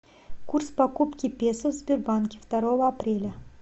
курс покупки песо в сбербанке второго апреля